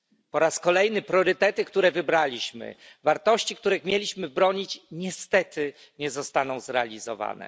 Po raz kolejny priorytety, które wybraliśmy, wartości, których mieliśmy bronić, niestety nie zostaną zrealizowane.